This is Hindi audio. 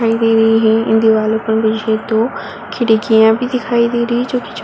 दिखाई दे रही हैं। इन दीवारों पर खिड़कियां भी दिखाई दे रही हैं छोटी छोटी --